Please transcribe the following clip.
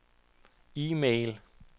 e-mail